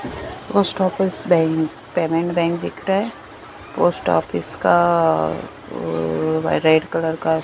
post office bank payment bank दिख रहा है पोस्ट ऑफिस का ओओ रेड कलर का--